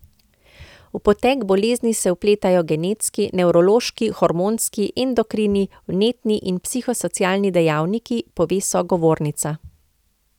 V potek bolezni se vpletajo genetski, nevrološki, hormonski, endokrini, vnetni in psihosocialni dejavniki, pove sogovornica.